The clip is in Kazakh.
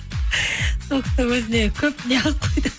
сол кісі өзіне көп не